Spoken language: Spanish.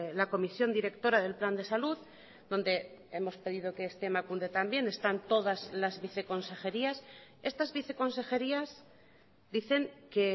la comisión directora del plan de salud donde hemos pedido que esté emakunde también están todas las viceconsejerias estas viceconsejerias dicen que